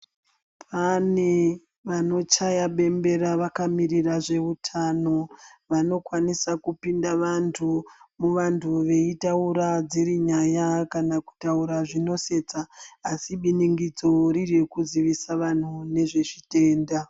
Pane vanochaya bembera vakamirira zveutano. Vanokwanisa kupinda vantu muvantu veitaura dziri nyaya kana kutaura zvinosetsa. Asi biningidzo riri rekuzvivisa vantu nezvezvitenda.